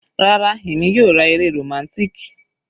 Rárá, èmi yóò ra eré romantic.